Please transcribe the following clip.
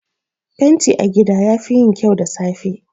Fenti a gida yafi yin kyau da safe.